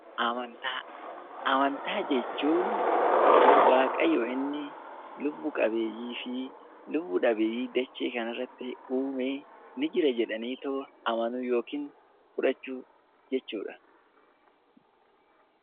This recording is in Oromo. Amantaa Amantaa jechuun waaqayyo inni lubbuu qabeeyyii fi lubbu dhabeeyyii dachee kana irratti uume ni jira jedhanii yookiin fudhachuu jechuudha.